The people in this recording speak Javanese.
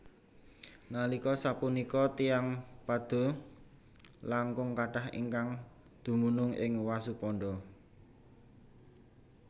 Nalika sapunika tiyang Padoe langkung kathah ingkang dumunung ing Wasuponda